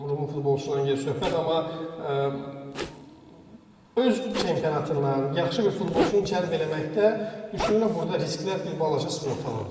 Rumın futbolçulardan gedir söhbət, amma öz çempionatından yaxşı bir futbolçunun cəlb eləməkdə düşünürəm burda risklər bir balaca sığortalanır.